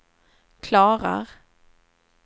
klarar